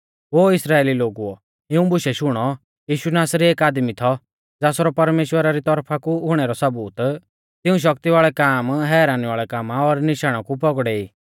ओ इस्राइली लोगुओ इऊं बुशै शुणौ यीशु नासरी एक आदमी थौ ज़ासरौ परमेश्‍वरा री तौरफा कु हुणै रौ सबूत तिऊं शक्ति वाल़ै काम हैरानी वाल़ै कामा और निशाणा कु पौगड़ौ ई